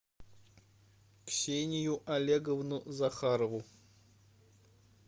ксению олеговну захарову